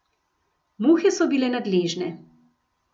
Muhe so bile nadležne.